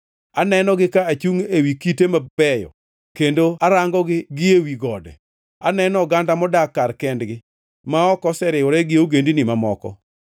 Anenogi ka achungʼ ewi kite mabeyo; kendo arangogi gi ewi gode. Aneno oganda modak kar kendgi ma ok oseriwore gi ogendini mamoko.